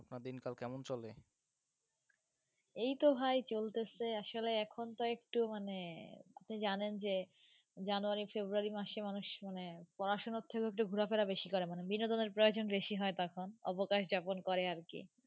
এই তো ভাই চলতেসে আসলে এখন তো একটু মানে আপনি জানেন যে জানুআরি, ফেবরুযারি মাসে মানুষ মানে পড়াশোনার থেকেও একটু ঘোরাফেরা বেশি করে মানে বিনোদনের প্রয়োজন বেশি হয় তখন, অবকাশ যাপন করে আর কি.